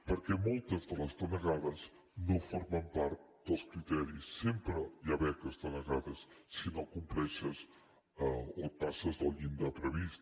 perquè moltes de les denegades no formen part dels criteris sempre hi ha beques denegades si no compleixes o et passes del llindar previst